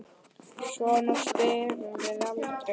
Svona spyrjum við aldrei.